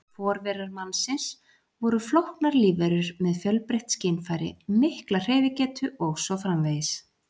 Forverar mannsins voru flóknar lífverur með fjölbreytt skynfæri, mikla hreyfigetu og svo framvegis.